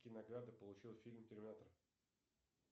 какие награды получил фильм терминатор